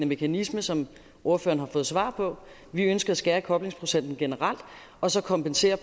mekanisme som ordføreren har fået svar på vi ønsker at skære i koblingsprocenten generelt og så kompensere